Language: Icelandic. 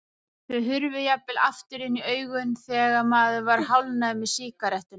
Þau hurfu jafnvel aftur inn í augun þegar maður var hálfnaður með sígarettuna.